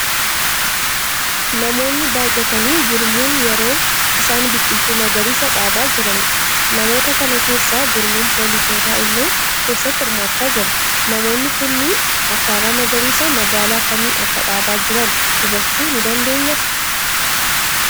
Namoonni baayyatanii gurmuun yeroo isaan biqiltuu magariisaa dhaabaa jiraniidha. Namoota kana keessa gurmuun poolisootaa illee keessatti hirmaachaa jiru. Namoonni kunniin ashaaraa magariisaa magaalaa kamii akka dhaabaa jiran hubachuu ni dandeenyaa?